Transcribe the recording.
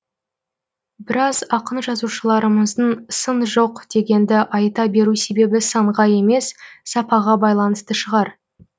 біраз ақын жазушыларымыздың сын жоқ дегенді айта беру себебі санға емес сапаға байланысты шығар